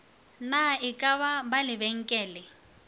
na e ka ba lebenkele